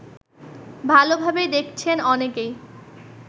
ভালভাবে দেখছেন অনেকেই